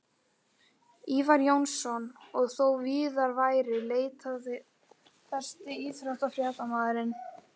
Ívar Jónsson og þó víðar væri leitað Besti íþróttafréttamaðurinn?